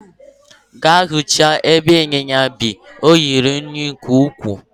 Gaa hichaa ebe inyinya bi, ọ ruru unyi nke ukwuu!